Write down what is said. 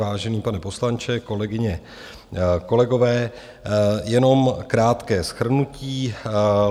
Vážený pane poslanče, kolegyně, kolegové, jenom krátké shrnutí.